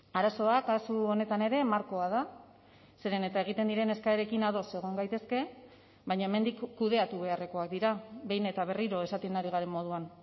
arazoa kasu honetan ere markoa da zeren eta egiten diren eskaerekin ados egon gaitezke baina hemendik kudeatu beharrekoak dira behin eta berriro esaten ari garen moduan